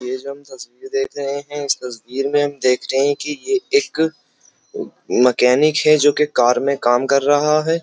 ये जो हम तस्वीर देख रहे हैं इस तस्वीर में हम देख रहे हैं कि ये एक मैकेनिक है जो कि कार में काम कर रहा है।